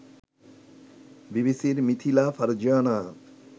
বিবিসির মিথিলা ফারজানা